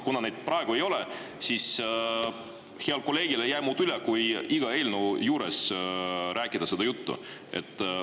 Kuna neid praegu ei ole, siis heal kolleegil ei jää muud üle, kui iga eelnõu juures seda juttu rääkida.